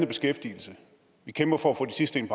beskæftigelse vi kæmper for at få de sidste ind